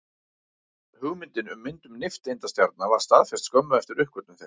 Hugmyndin um myndun nifteindastjarna var staðfest skömmu eftir uppgötvun þeirra.